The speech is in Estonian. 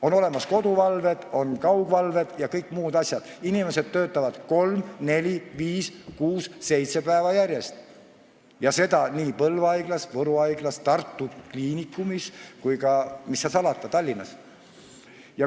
On olemas koduvalved, on kaugvalved ja kõik muud asjad, inimesed töötavad kolm, neli, viis, kuus või seitse päeva järjest, seda nii Põlva Haiglas, Võru Haiglas, Tartu Ülikooli Kliinikumis kui ka, mis seal salata, Tallinnas.